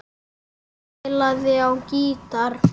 Hann spilaði á gítar.